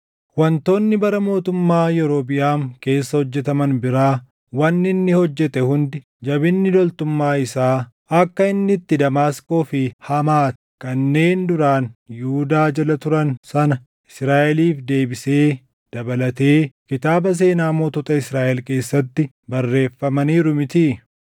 Wantoonni bara mootummaa Yerobiʼaam keessa hojjetaman biraa, wanni inni hojjete hundi, jabinni loltummaa isaa, akka inni itti Damaasqoo fi Hamaati kanneen duraan Yihuudaa jala turan sana Israaʼeliif deebisee dabalatee kitaaba seenaa mootota Israaʼel keessatti barreeffamaniiru mitii?